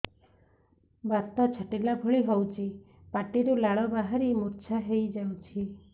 ବାତ ଛାଟିଲା ଭଳି ହଉଚି ପାଟିରୁ ଲାଳ ବାହାରି ମୁର୍ଚ୍ଛା ହେଇଯାଉଛି